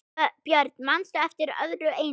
Björn: Manstu eftir öðru eins?